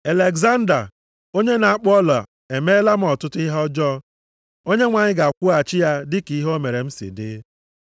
Alegzanda onye na-akpụ ọla emeela m ọtụtụ ihe ọjọọ. Onyenwe anyị ga-akwụghachi ya dị ka ihe o mere m si dị.